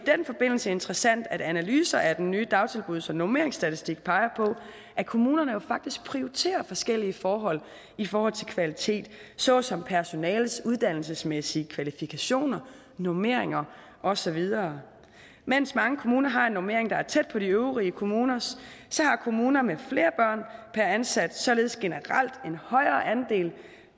den forbindelse interessant at analyser af den nye dagtilbuds og normeringsstatistik peger på at kommunerne jo faktisk prioriterer forskellige forhold i forhold til kvalitet såsom personalets uddannelsesmæssige kvalifikationer normeringer og så videre mens mange kommuner har en normering der er tæt på de øvrige kommuners så har kommuner med flere børn per ansat således generelt en højere andel